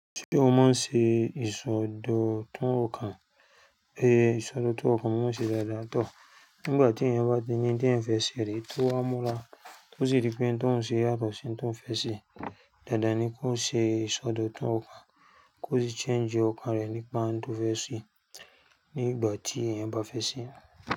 Ṣé o máa ń ṣe ìsọdọ̀tun ọkàn? Pé ìsọdọ̀tun ọkàn máa ń ṣe dáadáa pọ̀. Nígbà tí èèyàn bá ti ní ohun tí èèyàn fẹ́ ṣẹ̀ ríe, tó wá múra, tó sì rí pé òun to oun se yàtọ̀ sí ohun tó fẹ́ ṣe. Dándan ni kó ṣe ìsọdọ̀tun ọkàn, kó sì change ọkàn rẹ̀ nípa ohun tó fẹ́ ṣe nígbà tí èèyàn bá fẹ́ ṣẹ́